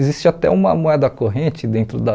Existe até uma moeda corrente dentro da...